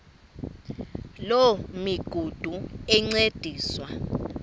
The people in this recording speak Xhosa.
loo migudu encediswa